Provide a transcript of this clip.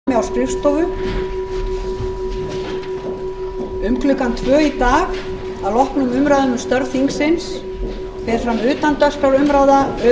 um klukkan tvö í dag að loknum umræðum um störf þingsins fer fram utandagskrárumræða um